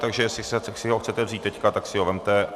Takže jestli si ho chcete vzít teď, tak si ho vezměte.